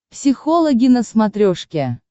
психологи на смотрешке